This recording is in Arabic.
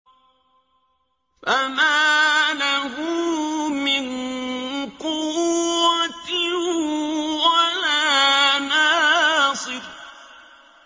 فَمَا لَهُ مِن قُوَّةٍ وَلَا نَاصِرٍ